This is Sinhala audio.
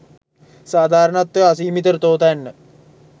සාධාරණත්වය අසීමිත තෝතැන්න